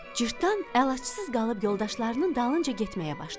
Cırtdan əlacısız qalıb yoldaşlarının dalınca getməyə başladı.